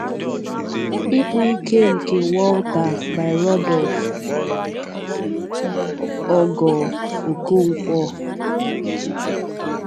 Ịkpọ́ Ìké nke Walter by Rudolf Ogoo Okonkwo